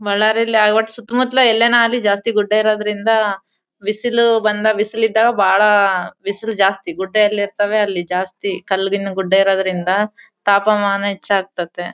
ಬಳ್ಳಾರಿಯಲ್ಲಿ ಆಗ ವಾಟ್ ಸುತ್ತಮುತ್ತಲ ಎಲ್ಲಾನ ಆಗ್ಲಿ ಜಾಸ್ತಿ ಗುಡ್ಡ ಇರುದರಿಂದ ಬಿಸಿಲು ಬಂದ ಬಿಸಿಲು ಇದ್ದಾಗ ಬಹಳ ಬಿಸಿಲು ಜಾಸ್ತಿ ಗುಡ್ಡ ಎಲ್ಲಿ ಇರ್ತವೆ ಅಲ್ಲಿ ಜಾಸ್ತಿ ಕಲ್ಲಿಂದ್ ಗುಡ್ದ ಇರೋದರಿಂದ ತಾಪಮಾನ ಹೆಚ್ಚ್ ಆಗ್ತತ್ತೆ.